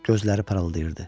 Gözləri parıldayırdı.